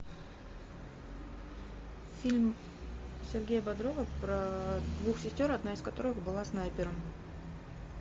фильм сергея бодрова про двух сестер одна из которых была снайпером